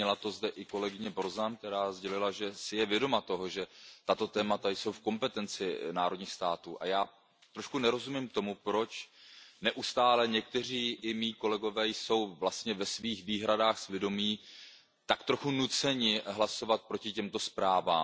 Zmínila to zde i kolegyně Borzanová, která sdělila, že si je vědoma toho, že tato témata jsou v kompetenci národních států, a já trošku nerozumím tomu, proč neustále někteří i mí kolegové jsou vlastně s ohledem na své výhrady svědomí tak trochu nuceni hlasovat proti těmto zprávám.